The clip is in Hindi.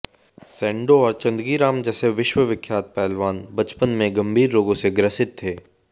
सेंडो और चंदगी राम जैसे विश्वविख्यात पहलवान बचपन में गंभीर रोगों से ग्रसित थे